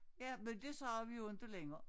Ja men det siger vi jo inte længere